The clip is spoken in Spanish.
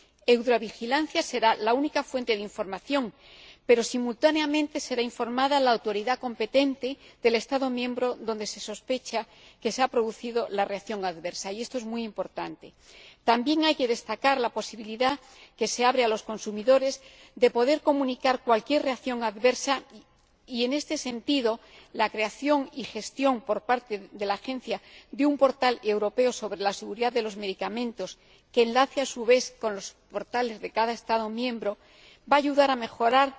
Eudravigilance será la única fuente de información, pero simultáneamente se informará a la autoridad competente del Estado miembro donde se sospecha que se ha producido la reacción adversa, y esto es muy importante. También hay que destacar la posibilidad que se abre a los consumidores de poder comunicar cualquier reacción adversa y, en este sentido, la creación y gestión por parte de la Agencia de un portal europeo sobre la seguridad de los medicamentos, que enlace a su vez con los portales de cada Estado miembro, va a ayudar a mejorar